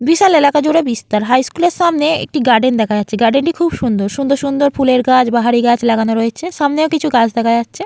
বিশাল এলাকা জুড়ে বিস্তার। হাই স্কুল এর সামনে একটি গার্ডেন দেখা যাচ্ছে। গার্ডেন টি খুব সুন্দর। সুন্দর সুন্দর ফুলের গাছ বাহারি গাছ লাগানো রয়েছে। সামনেও কিছু গাছ দেখা যাচ্ছে।